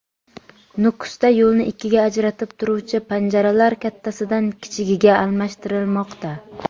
Nukusda yo‘lni ikkiga ajratib turuvchi panjaralar kattasidan kichigiga almashtirilmoqda .